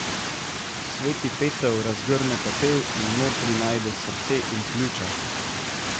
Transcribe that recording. Sveti Peter razgrne pepel in notri najde srce in pljuča.